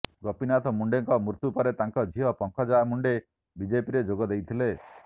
ଗୋପିନାଥ ମୁଣ୍ଡେଙ୍କ ମୃତ୍ୟୁ ପରେ ତାଙ୍କ ଝିଅ ପଙ୍କଜା ମୁଣ୍ଡେ ବିଜେପିରେ ଯୋଗ ଦେଇଥିଲେ